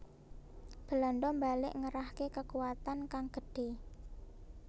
Belanda mbalik ngerahke kekuwatan kang gedhe